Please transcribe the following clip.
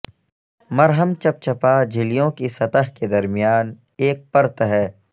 مرہم چپچپا جھلیوں کی سطح کے درمیان ایک پرت ہے